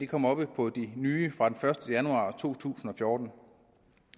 kommer under de nye fra den første januar to tusind og fjorten